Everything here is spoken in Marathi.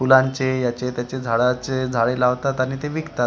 फुलांचे याचे त्याचे झाडाचे झाडे लावतात आणि ते विकतात.